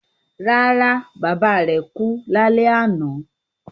Rárá, bàbá rẹ̀ kú lálẹ́ àná